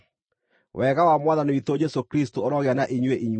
Wega wa Mwathani witũ Jesũ Kristũ ũrogĩa na inyuĩ inyuothe.